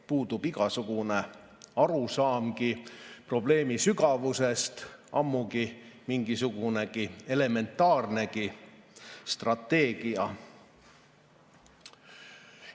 Puudub igasugune arusaamgi probleemi sügavusest, ammugi mingisugune elementaarne strateegia.